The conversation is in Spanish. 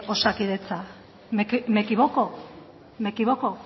osakidetza me equivoco